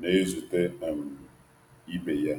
na-ezute um ibe ya.